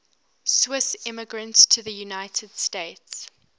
swiss immigrants to the united states